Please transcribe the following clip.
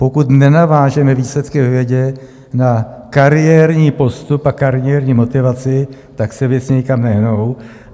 Pokud nenavážeme výsledky ve vědě na kariérní postup a kariérní motivaci, tak se věci nikam nehnou.